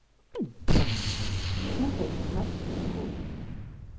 Där frös hon fast i en grop.